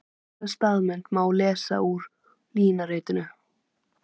Athyglisverða staðreynd má lesa út úr línuritinu.